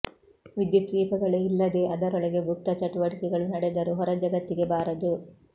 ವಿದ್ಯುತ್ ದೀಪಗಳೇ ಇಲ್ಲದೇ ಅದರೊಳಗೆ ಗುಪ್ತ ಚಟುವಟಿಕೆಗಳು ನಡೆದರೂ ಹೊರ ಜಗತ್ತಿಗೆ ಬಾರದು